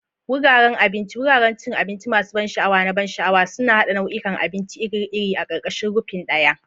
Wuraren abinci, wuraren cin abinci masu ban sha'awa na ban sha'awa, suna haɗa nau'ikan abinci iri-iri a ƙarƙashin rufin ɗaya.